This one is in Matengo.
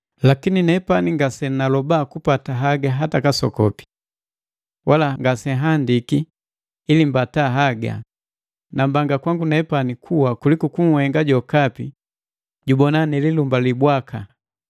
Lakini nepani ngasenaloba kupata haga hata kasokopi. Wala ngasenhandiki ili mbata haga, nambanga kwangu nepani kuwa kuliku kunhenga jokapi jubona nililumbali bwaka.